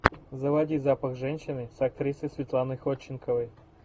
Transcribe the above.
заводи запах женщины с актрисой светланой ходченковой